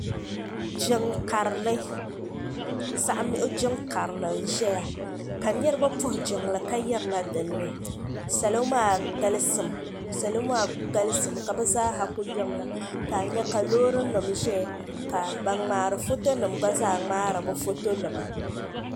ni karili zaɣimigu jin karili n ʒɛya ka niriba puhi jinli ka yirana dini salo maa galisim ka be zaa kuli yirina ka nyɛ ka lori nim ʒɛya ka ban kpari ƒɔtonim gba kpari ƒɔtonima